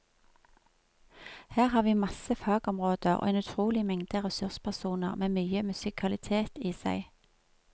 Her har vi masse fagområder og en utrolig mengde ressurspersoner med mye musikalitet i seg.